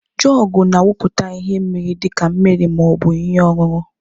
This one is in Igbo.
Jugu na awuputa ihe mmiri dị ka mmiri ma ọ bụ ihe ọṅụṅụ.